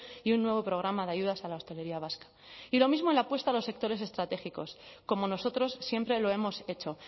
y un nuevo programa de ayudas a la hostelería vasca y lo mismo en la apuesta a los sectores estratégicos como nosotros siempre lo hemos hecho